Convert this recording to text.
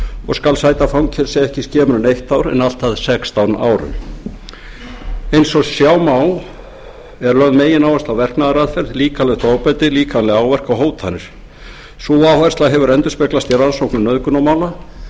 og skal sæta fangelsi ekki skemur en eitt ár og allt að sextán árum eins og sjá má er lögð megináhersla á verknaðaraðferð líkamlegt ofbeldi líkamlega áverka og hótanir sú áhersla hefur endurspeglast í rannsóknum nauðgunarmála